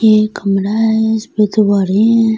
ये एक कमरा हैं इसपे दीवारे हैं उम--